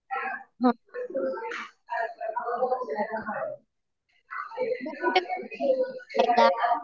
तु कुठे